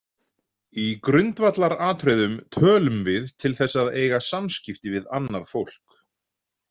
Í grundvallaratriðum tölum við til þess að eiga samskipti við annað fólk.